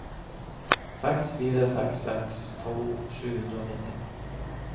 seks fire seks seks tolv sju hundre og nitti